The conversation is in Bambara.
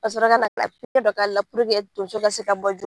Ka sɔrɔ ka na puruke tonso ka se ka bɔ.